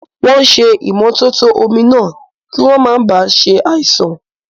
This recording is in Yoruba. Wọ́n ṣé ìmótótó omi náà, kí wọ́n máa ba ṣe àìsàn